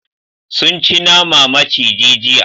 Sun ci nama maciji jiya.